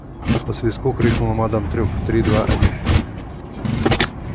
по свистку крикнула мадам трюк три два один